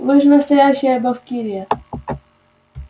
вы же настоящая бавкирия